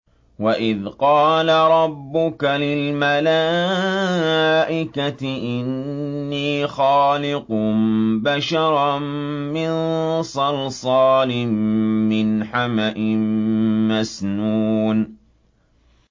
وَإِذْ قَالَ رَبُّكَ لِلْمَلَائِكَةِ إِنِّي خَالِقٌ بَشَرًا مِّن صَلْصَالٍ مِّنْ حَمَإٍ مَّسْنُونٍ